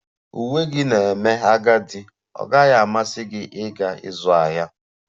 Uwe gị na-eme agadi, ọ gaghị amasị gị ịga ịzụ ahịa?